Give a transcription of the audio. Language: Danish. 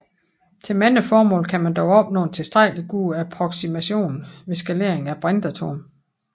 Til mange formål kan man dog opnå en tilstrækkelig god approksimation ved skalering af brintatomet